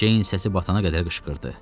Ceyn səsi batana qədər qışqırdı.